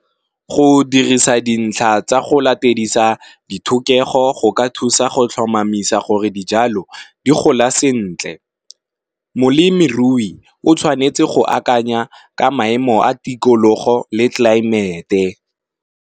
Go dirisa dintlha tsa go latedisa dithokego go ka thusa go tlhomamisa gore dijalo di gola sentle, molemirui o tshwanetse go akanya ka maemo a tikologo le tlaemete.